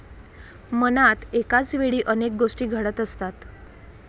मनात एकाचवेळी अनेक गोष्टी घडत असतात.